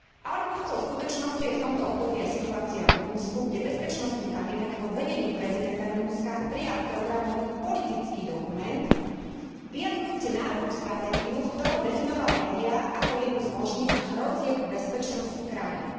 Alarmujúcou skutočnosťou je v tomto období aj situácia v Rumunsku, kde bezpečnostný kabinet pod vedením prezidenta Rumunska prijal programový politický dokument vyjadrujúci národnú stratégiu, v ktorom definoval médiá ako jednu z možných hrozieb bezpečnosti krajiny.